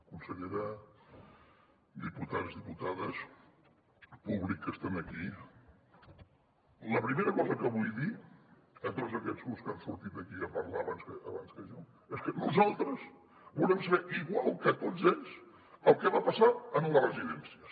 consellera diputats diputades públic que és aquí la primera cosa que vull dir a tots aquests grups que han sortit aquí a parlar abans que jo és que nosaltres volem saber igual que tots ells el que va passar en les residències